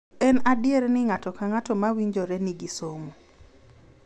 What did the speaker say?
En adier ni ng’ato ka ng’ato ma owinjore nigi somo.